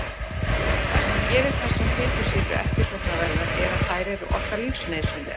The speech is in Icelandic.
Það sem gerir þessar fitusýrur eftirsóknarverðar er að þær eru okkur lífsnauðsynlegar.